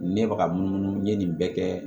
Ne bɛ ka munumunu n ye nin bɛɛ kɛ